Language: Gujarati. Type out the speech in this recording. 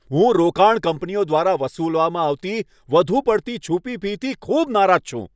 હું રોકાણ કંપનીઓ દ્વારા વસૂલવામાં આવતી વધુ પડતી છુપી ફીથી ખૂબ નારાજ છું.